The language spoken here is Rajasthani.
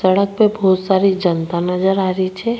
सड़क पे बहोत सारी जनता नजर आ री छे।